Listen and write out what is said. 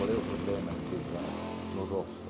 Qual é o problema de beijar no rosto?